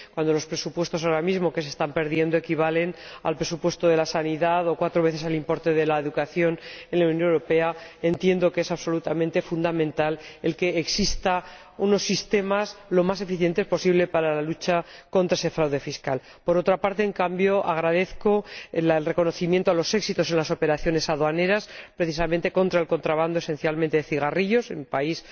Cuando los presupuestos que ahora mismo se están perdiendo equivalen al presupuesto de la sanidad o a cuatro veces al importe de la educación en la Unión Europea, entiendo que es absolutamente fundamental que existan unos sistemas lo más eficientes posible para la lucha contra ese fraude fiscal. Por otra parte, en cambio, agradezco el reconocimiento de los éxitos en las operaciones aduaneras, precisamente contra el contrabando de cigarrillos esencialmente, como en mi país